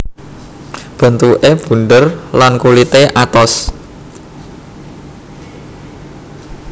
Bentuké bunder lan kulité atos